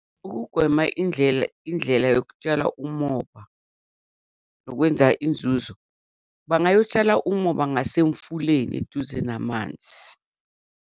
Ukugwema indlela indlela yokutshala umoba nokwenza inzuzo bangayotshala umoba ngasemfuleni eduze namanzi.